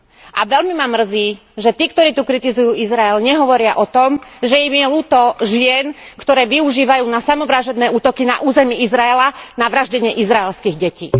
A veľmi ma mrzí, že tí, ktorí tu kritizujú Izrael, nehovoria o tom, že im je ľúto žien, ktoré využívajú na samovražedné útoky na území Izraela na vraždenie izraelských detí.